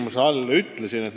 Mida ma sellele vastates ütlesin?